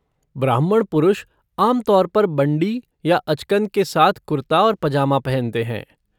ब्राह्मण पुरुष आम तौर पर बंड़ी या अचकन के साथ कुर्ता और पजामा पहनते हैं।